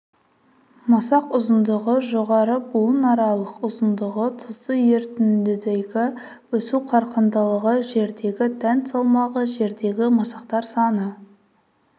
масақ ұзындығы жоғары буынаралық ұзындығы тұзды ерітіндідегі өсу қарқындылығы жердегі дән салмағы жердегі масақтар саны